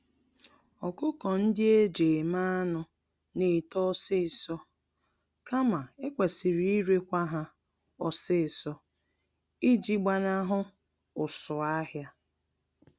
Ọkụkọ-ndị-eji-eme-anụ N'eto ọsịsọ, kama ekwesịrị irekwa ha ọsịsọ iji gbanahụ ụsụ-ahịa.